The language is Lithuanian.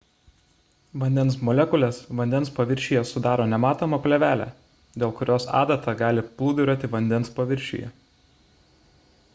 vandens molekulės vandens paviršiuje sudaro nematomą plėvelę dėl kurios adata gali plūduriuoti vandens paviršiuje